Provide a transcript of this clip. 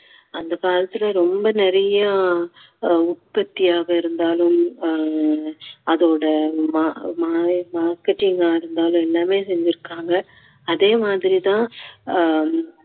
அந்த காலத்துல ரொம்ப நிறைய ஆஹ் உற்பத்தியாக இருந்தாலும் ஆஹ் அதோட மா~ மா~ marketing ஆ இருந்தாலும் எல்லாமே செஞ்சிருக்காங்க அதே மாதிரி தான்